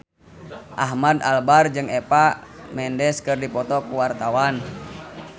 Ahmad Albar jeung Eva Mendes keur dipoto ku wartawan